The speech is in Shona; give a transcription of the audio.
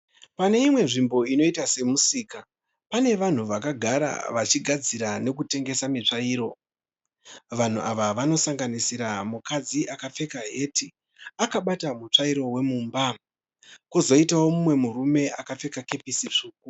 Pane imwe nzvimbo inoita semusika. Pane vanhu vakagara vachigadzira nekutengesa mitsvairo. Vanhu ava vanosanganisira mukadzi akapfeka heti akabata mutsvairo wemumba. Kwozoitawo umwe murume akapfeka kepesi tsvuku.